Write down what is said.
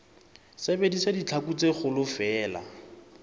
sebedisa ditlhaku tse kgolo feela